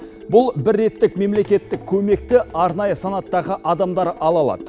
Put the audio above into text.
бұл бір реттік мемлекеттік көмекті арнайы санаттағы адамдар ала алады